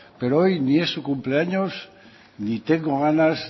pero hoy ni es su cumpleaños ni tengo ganas